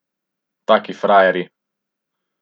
Taki frajerji.